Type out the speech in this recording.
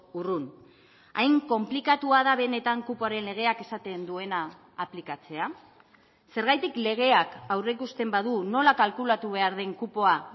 urrun hain konplikatua da benetan kupoaren legeak esaten duena aplikatzea zergatik legeak aurreikusten badu nola kalkulatu behar den kupoa